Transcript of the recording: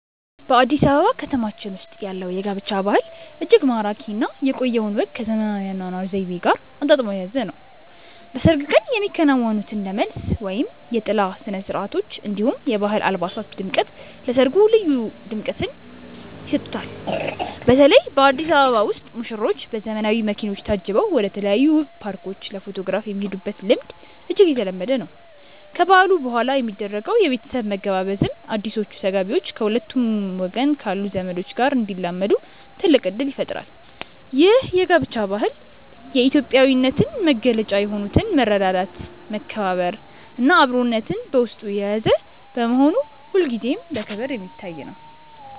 በአዲስ አበባ ከተማችን ውስጥ ያለው የጋብቻ ባህል እጅግ ማራኪ እና የቆየውን ወግ ከዘመናዊው የአኗኗር ዘይቤ ጋር አጣጥሞ የያዘ ነው። በሰርግ ቀን የሚከናወኑት እንደ መልስ እና የጥላ ስነስርዓቶች፣ እንዲሁም የባህል አልባሳት ድምቀት ለሰርጉ ልዩ ድምቀትን ይሰጡታል። በተለይ በአዲስ አበባ ውስጥ ሙሽሮች በዘመናዊ መኪኖች ታጅበው ወደተለያዩ ውብ ፓርኮች ለፎቶግራፍ የሚሄዱበት ልምድ እጅግ የተለመደ ነው። ከበዓሉ በኋላ የሚደረገው የቤተሰብ መገባበዝም አዲሶቹ ተጋቢዎች ከሁለቱም ወገን ካሉ ዘመዶች ጋር እንዲላመዱ ትልቅ እድል ይፈጥራል። ይህ የጋብቻ ባህል የኢትዮጵያዊነትን መገለጫ የሆኑትን መረዳዳት፣ መከባበር እና አብሮነትን በውስጡ የያዘ በመሆኑ ሁልጊዜም በክብር የሚታይ ነው።